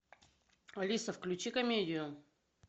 алиса включи комедию